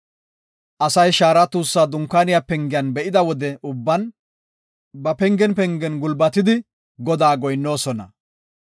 Asay shaara tuussa Dunkaaniya pengiyan be7ida wode ubban, ba pengen pengen gulbatidi Godaas goyinnoosona.